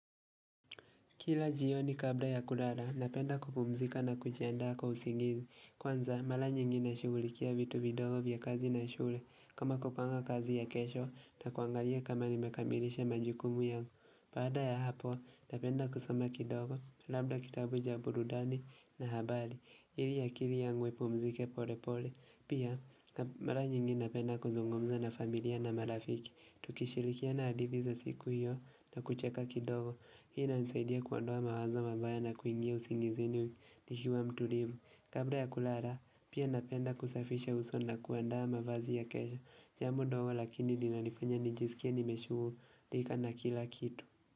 Kila jioni kabla ya kulala, napenda kupumzika na kujiandaa kwa usingizi. Kwanza, mara nyingi nashugulikia vitu vidogo vya kazi na shule. Kama kupanga kazi ya kesho, na kuangalia kama nimekamilisha majukumu yangu. Baada ya hapo, napenda kusoma kidogo, labda kitabu ja burudani na habali. Ili akili yangu ipumzike pole pole. Pia, mara nyingi napenda kuzungumza na familia na marafiki. Tukishilikiana hadithi za siku hiyo na kucheka kidogo. Hii na nisaidia kuondoa mawazo mabaya na kuingia usingizini nikiwa mtulivu Kabla ya kulala, pia napenda kusafisha uso na kuandaa mavazi ya kesho Jambo ndogo lakini linanifanya nijisikie nimeshugulika na kila kitu.